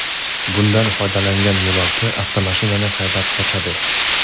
Bundan foydalangan yo‘lovchi avtomashinani haydab qochadi.